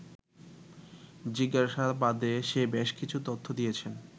জিজ্ঞাসাবাদে সে বেশকিছু তথ্য দিয়েছে